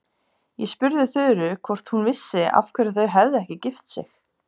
Ég spurði Þuru hvort hún vissi af hverju þau hefðu ekki gift sig.